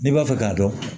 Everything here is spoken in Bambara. N'i b'a fɛ k'a dɔn